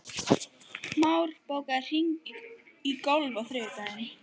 Már, bókaðu hring í golf á þriðjudaginn.